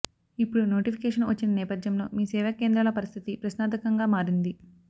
ఇప్పుడు నోటిఫికేషను వచ్చిన నేపథ్యంలో మీసేవా కేంద్రాల పరిస్థితి ప్రశ్నార్ధకంగా మారింది